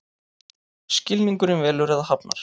Skilningurinn velur eða hafnar.